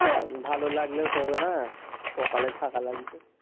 ভালো লাগলে তো হবেনা কপালে থাকা লাগবে,